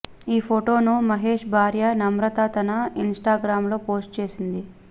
ఈ ఫొటోను మహేశ్ భార్య నమ్రత తన ఇన్స్టాగ్రామ్లో పోస్ట్ చేసింది